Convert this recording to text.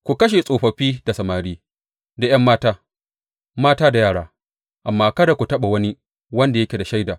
Ku kashe tsofaffi da samari da ’yan mata, mata da yara, amma kada ku taɓa wani wanda yake da shaida.